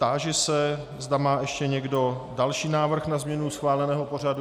Táži se, zda má ještě někdo další návrh na změnu schváleného pořadu.